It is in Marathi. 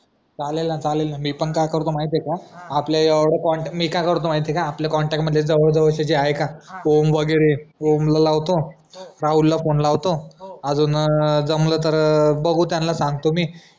चालेल ना चालेल ना मी पण काय माहितियेय का आपल्या या एवढा कॉन्ट मी काय करतो माहितीये का आपल्या एवढया कॉन्टॅक्ट मध्ये जवळ जवळ चे जे आहेत ना ओम वगैरे जे ए ओम ला लावतो राहुल ला फोने लावतो अजून जमलं तर बगहू त्यांना सांगतो मी